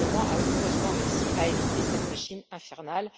Le Parlement a heureusement réussi à éviter cette machine infernale.